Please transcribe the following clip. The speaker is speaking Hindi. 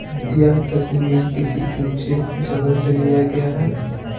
यह तस्वीर किसी ऊंचे जगह से लिया गया है।